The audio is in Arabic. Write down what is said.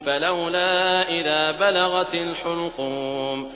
فَلَوْلَا إِذَا بَلَغَتِ الْحُلْقُومَ